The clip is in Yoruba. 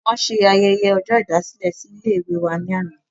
wọ́n ṣe ayẹyẹ ọjọ́ ìdásílẹ̀ ní ilé ìwé wa ní àná